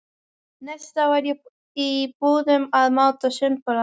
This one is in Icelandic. Næstu daga var ég í búðum að máta sundboli.